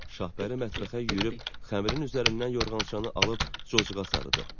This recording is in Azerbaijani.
Şahbəri mətbəxə yüyürüb xəmirin üzərindən yorğançanı alıb cocuğa sarıdı.